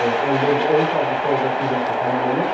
14, 13 avqustda 18 yaşı tamam olur.